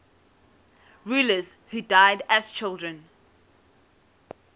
rulers who died as children